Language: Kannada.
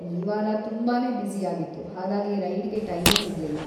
ಈ ವಾರ ತುಂಬಾನೇ ಬ್ಯುಸಿ ಆಗಿತ್ತು, ಹಾಗಾಗಿ ರೈಡ್‌ಗೆ ಟೈಮೇ ಸಿಗ್ಲಿಲ್ಲ.